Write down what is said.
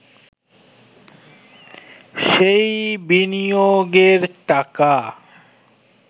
সেই বিনিয়োগের টাকা